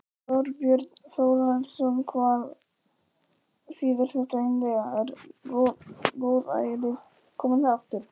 Þorbjörn Þórðarson: Hvað þýðir þetta eiginlega, er góðærið komið aftur?